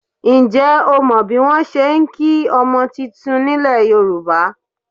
Ǹjẹ́ o mọ bí wọn ṣe ń kí ọmọ titun nílẹ̀ Yorùbá?